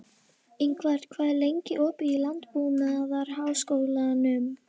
Ingvar, hvað er lengi opið í Landbúnaðarháskólanum?